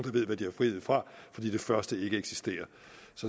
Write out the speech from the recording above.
ved hvad de har frihed fra fordi det første ikke eksisterer